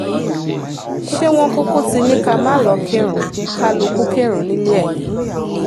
ṣé wọ́n kúkú ti ní ká má lọ̀ọ́ kírun kálukú kírun nílé ẹ̀ ni